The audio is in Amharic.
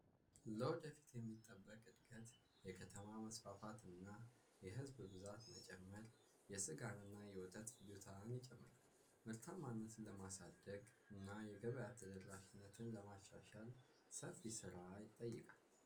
ለወደፊት የሚጠበቅ ዕድገት የከተማ መስፋፋትና የሕዝብ ብዛት መጨምር የስጋን እና የወተት ምርትን ይጨምራል። ምርማነትን ለማሳደግ እና የገበያ ተደራሽነትን ለማሻሻል ሰፍ ስራ ይጠይቃል።